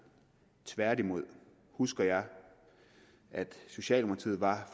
tværtimod husker jeg at socialdemokratiet var